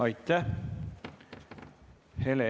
Aitäh!